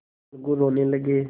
अलगू रोने लगे